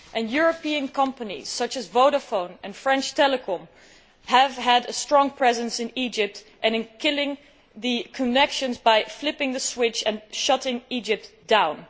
European companies, such as Vodafone and French Telecom, have had a strong presence in Egypt and in killing the connections by flipping the switch and shutting Egypt down.